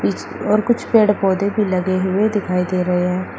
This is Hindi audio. पीछे और कुछ पेड़ पौधे भी लगे हुए दिखाई दे रहे हैं।